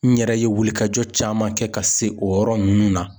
N yɛrɛ ye wulikajɔ caman kɛ ka se o yɔrɔ nunnu na.